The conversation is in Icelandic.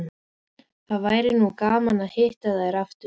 Það væri nú gaman að hitta þær aftur